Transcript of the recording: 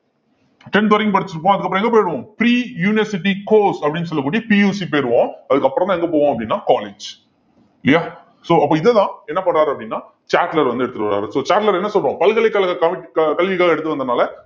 tenth வரைக்கும் படிச்சுட்டு இருப்போம் அதுக்கப்புறம் எங்க போயிடுவோம் pre university course அப்படின்னு சொல்லக்கூடிய PUC போயிருவோம் அதுக்கப்புறம்தான் எங்க போவோம் அப்படின்னா college இல்லையா so அப்போ இதைதான் என்ன பண்றாரு அப்படின்னா சாட்லர் வந்து, எடுத்துட்டு வர்றாரு so சாட்லர் என்ன சொல்றோம் பல்கலைக்கழக க~ கல்விக்காக எடுத்துட்டு வந்தனால